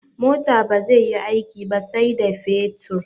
Mota bazai yi aiki ba sai da fetur